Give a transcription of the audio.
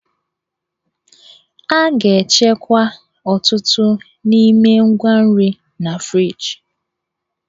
A ga-echekwa ọtụtụ n'ime ngwa nri na friji.